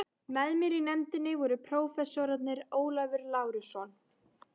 Með mér í nefndinni voru prófessorarnir Ólafur Lárusson